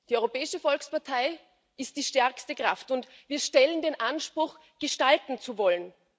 Die Europäische Volkspartei ist die stärkste Kraft, und wir stellen den Anspruch, gestalten zu wollen.